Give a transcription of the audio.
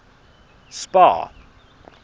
spar